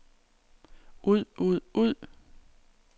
ud ud ud